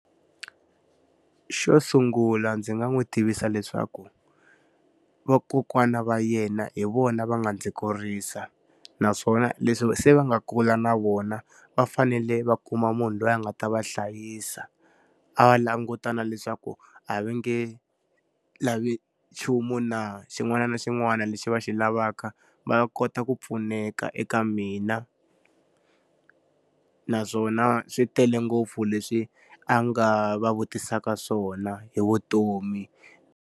Xo sungula ndzi nga n'wi tivisa leswaku vakokwana va yena hi vona va nga ndzi kurisa. Naswona leswi se va nga kula na vona, va fanele va kuma munhu loyi a nga ta va hlayisa, a va languta na leswaku a va nge lavi nchumu na? Xin'wana na xin'wana lexi va xi lavaka va kota ku pfuneka eka mina. Naswona swi tele ngopfu leswi a nga va vutisaka swona hi vutomi.